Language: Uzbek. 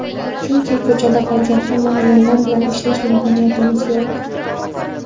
Chunki ko‘chada qolgan hamma ayollar bilan ishlash imkoniyatimiz yo‘q.